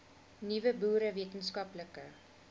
nuwe boere wetenskaplike